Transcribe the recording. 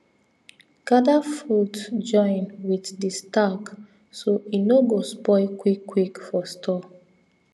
gather fruit join with the stalk so e no go spoil quick quick for store